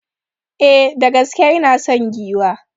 E, da gaske ina son giwa.